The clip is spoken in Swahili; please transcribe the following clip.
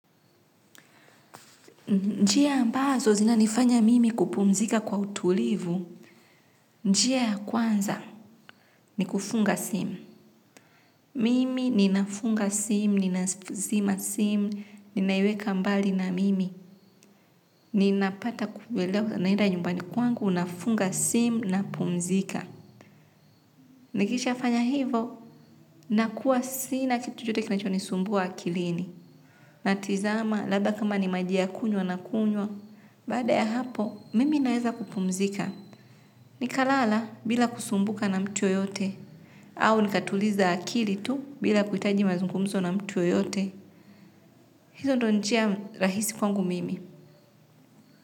Njia ambazo zinanifanya mimi kupumzika kwa utulivu, njia ya kwanza ni kufunga simu. Mimi ninafunga simu, ninazima simu, ninaiweka mbali na mimi. Ninapata kuelewa naenda nyumbani kwangu, nafunga simu, napumzika. Nikishafanya hivo, nakuwa sina kitu chochote kinachonisumbua akilini. Natizama, labda kama ni maji ya kunywa nakunywa, baada ya hapo, mimi naeza kupumzika. Ni kalala bila kusumbuka na mtu yoyote. Au nikatuliza akili tu bila kuhitaji mazungumzo na mtu yoyote. Hizo ndo njia rahisi kwangu mimi.